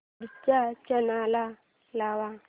पुढचा चॅनल लाव